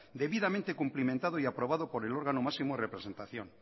debidamente cumplimentado y aprobado por el órgano máximo de representación